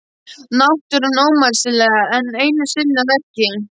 Náttúran ómótstæðilega enn einu sinni að verki.